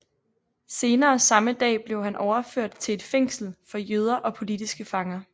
Senere samme dag blev han overført til et fængsel for jøder og politiske fanger